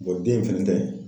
bɔn den in fɛnɛ tɛ